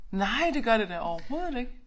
Nej det gør det da overhovedet ikke